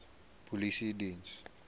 polisiediens